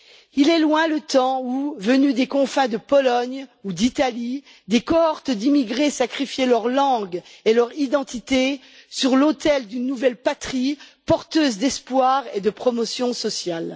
Il est loin le temps où venus des confins de Pologne ou d'Italie, des cohortes d'immigrés sacrifiaient leur langue et leur identité sur l'autel d'une nouvelle patrie porteuse d'espoir et de promotion sociale.